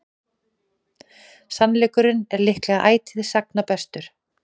sannleikurinn er líklega ætíð sagna bestur